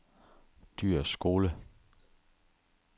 Dyhrs Skole